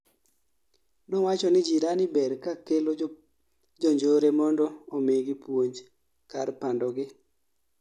Nowacho ni jirani ber kaa kelo jonjore mondo omigi puonj, kar pandogi